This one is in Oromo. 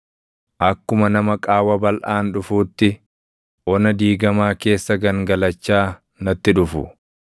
Akkuma nama qaawwa balʼaan dhufuutti, ona diigamaa keessa gangalachaa natti dhufu.